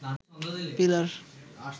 pillar